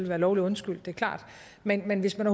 være lovligt undskyldt det er klart men men hvis man